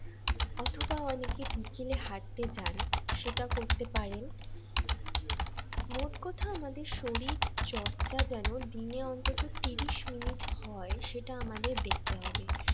অথবা অনেকে বিকেলে হাঁটতে যান সেটা করতে পারেন মোট কথা আমাদের শরীর চর্চা যেন দিনে অন্তত ত্রিশ মিনিট হয় সেটা আমাদের দেখতে হবে।